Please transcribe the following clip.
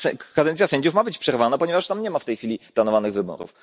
Kadencja sędziów ma być przerwana, ponieważ tam nie ma w tej chwili planowanych wyborów.